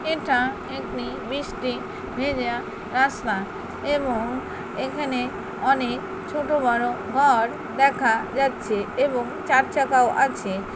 এটা একটি বৃষ্টি ভেজা রাস্তা এবং এখানে অনেক ছোট বড় ঘর দেখা যাচ্ছে এবং চার চাকাও আছে।